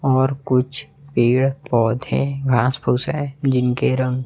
और कुछ पेड़ पौधे घांस फूस है जिनके रंग--